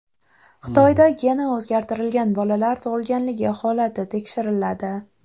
Xitoyda geni o‘zgartirilgan bolalar tug‘ilganligi holati tekshiriladi.